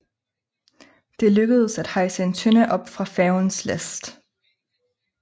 Det lykkedes at hejse en tønde op fra færgens last